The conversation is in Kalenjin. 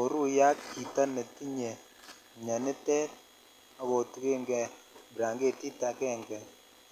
oru ye ak chito mionitet ak otungen kei brsngetit angenge